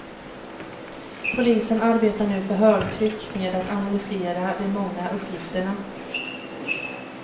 Polisen arbetar nu för högtryck med att analysera de många uppgifterna.